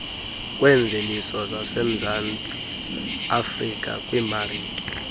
kweemveliso zasemzantsiafrika kwiimarike